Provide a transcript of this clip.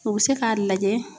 O bɛ se k'a lajɛ